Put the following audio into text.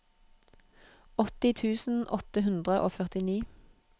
åtti tusen åtte hundre og førtini